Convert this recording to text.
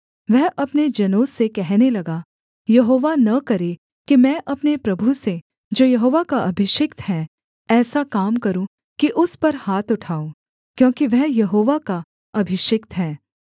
वह अपने जनों से कहने लगा यहोवा न करे कि मैं अपने प्रभु से जो यहोवा का अभिषिक्त है ऐसा काम करूँ कि उस पर हाथ उठाऊँ क्योंकि वह यहोवा का अभिषिक्त है